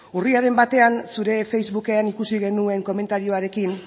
urriaren batean zure facebooken ikusi genuen komentarioarekin